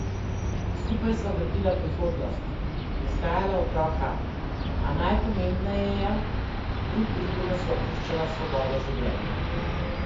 Skupaj sva gradila prihodnost, vzgajala otroka, a najpomembneje, drug drugemu sva puščala svobodo življenja!